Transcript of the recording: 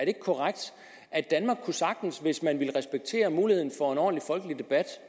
ikke korrekt at danmark sagtens hvis man ville respektere muligheden for en ordentlig folkelig debat